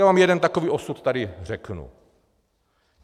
Já vám jeden takový osud tady řeknu.